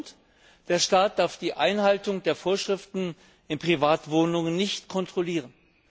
Der Grund Der Staat darf die Einhaltung der Vorschriften in Privatwohnungen nicht kontrollieren.